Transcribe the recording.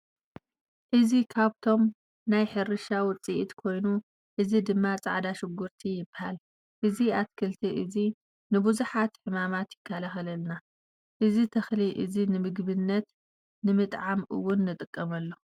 እዚ ካብቶም ናይ ሕርሻ ውፅኢት ኮይኑ እዚ ድማ ፃዕዳ ሽጉርቲ ይባሃል። እዚ ኣትክልቲ እዚ ንቡዙሓት ሕማማት ይከላከለልና። እዚ ተክሊ እዚ ንምግብነት ንምጥዓም እውን ንጥቀመሉ።